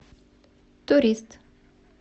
турист